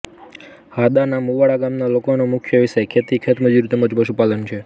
હાદાના મુવાડા ગામના લોકોનો મુખ્ય વ્યવસાય ખેતી ખેતમજૂરી તેમ જ પશુપાલન છે